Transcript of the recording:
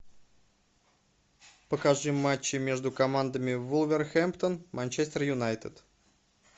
покажи матчи между командами вулверхэмптон манчестер юнайтед